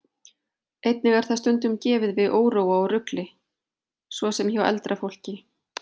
Einnig er það stundum gefið við óróa og rugli, svo sem hjá eldra fólki.